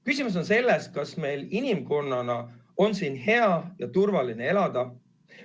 Küsimus on selles, kas meil inimkonnana on siin hea ja turvaline elada.